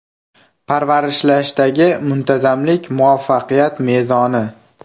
Parvarishlashdagi muntazamlik – muvaffaqiyat mezoni.